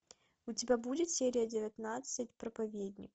у тебя будет серия девятнадцать проповедник